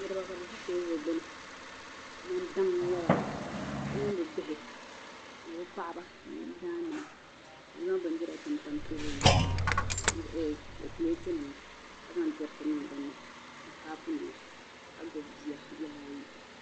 Niriba kabi zi teebuli gbuni. kaman daŋ n nyaba bi mini bi bihi ni bi paɣba ni biyidaan nima kabizaŋ bindira n-tam tam teebuli maa zuɣu ni pletnima kazaŋ diriti n. niŋ dini . ni kaapu nima. ka gbubi. biya bihi ayi.